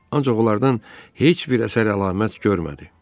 Ancaq onlardan heç bir əsər əlamət görmədi.